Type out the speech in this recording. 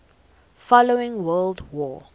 following world war